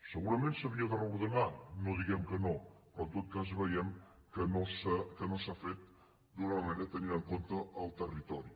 segurament s’havia de reordenar no diem que no però en tot cas veiem que no s’ha fet d’una manera tenint en compte el territori